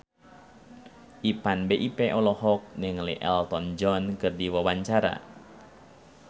Ipank BIP olohok ningali Elton John keur diwawancara